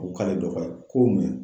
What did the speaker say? O ko k'a ye dɔ faga ko mun ye.